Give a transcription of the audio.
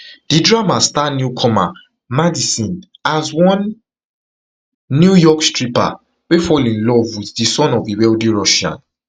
di drama star newcomer madison as one new york stripper wey fall in love with di son of a wealthy russian